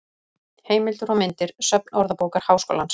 Heimildir og myndir: Söfn Orðabókar Háskólans.